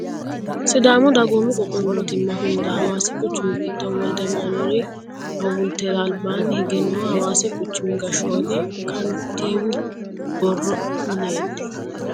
sidaamu dagoomu qoqqowu mootimma hunda hawaasi quchumi giddo wolde amanueeli hawultera albaanni hige nooha hawaasi quchumi gashshooti kantiiwu borro mineeti